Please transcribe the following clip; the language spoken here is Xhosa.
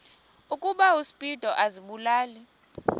ukuba uspido azibulale